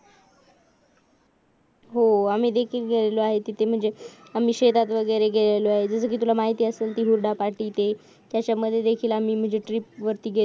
हो आम्ही तिथं गेलेली आहे तिथे म्हणजे आम्ही शेतांत वगैरे गेलो आहो जसेकी तुला माहिती असेलचकी हुरडा पार्टी ते त्याच्यामध्ये देखील आम्ही ट्रिप वरती गेलेलो आहे